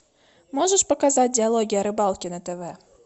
можешь показать диалоги о рыбалке на тв